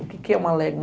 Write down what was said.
O que é uma légua?